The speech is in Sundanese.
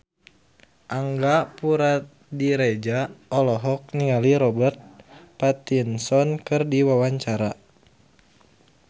Angga Puradiredja olohok ningali Robert Pattinson keur diwawancara